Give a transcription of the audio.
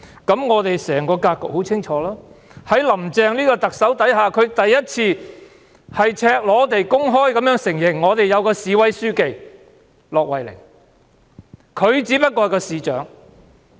那麼整個格局便很清楚了，"林鄭"第一次赤裸地公開承認我們有位市委書記——駱惠寧，而她只不過是市長。